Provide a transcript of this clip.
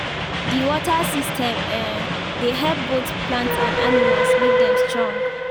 the water system um dey help both plants and animals make dem strong